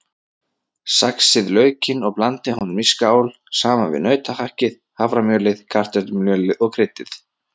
Saxið laukinn og blandið honum í skál saman við nautahakkið, haframjölið, kartöflumjölið og kryddið.